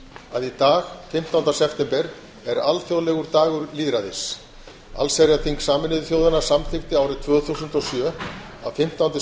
að í dag fimmtánda september er alþjóðlegur dagur lýðræðis allsherjarþing sameinuðu þjóðanna samþykkti árið tvö þúsund og sjö að fimmtánda